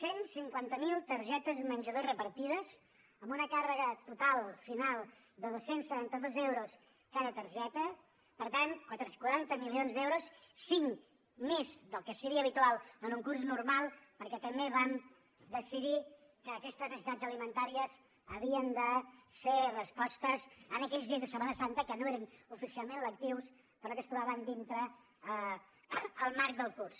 cent i cinquanta miler targetes menjador repartides amb una càrrega total final de dos cents i setanta dos euros cada targeta per tant quaranta milions d’euros cinc més del que seria habitual en un curs normal perquè també vam decidir que aquestes necessitats alimentàries havien de ser respostes en aquells dies de setmana santa que no eren oficialment lectius però que es trobaven dintre el marc del curs